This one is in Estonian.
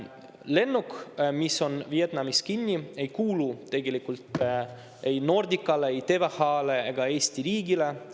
Lennuk, mis on Vietnamis kinni, ei kuulu tegelikult ei Nordicale, ei TVH-le ega Eesti riigile.